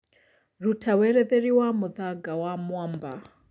rũta weretheri wa mũthanga wa mwamba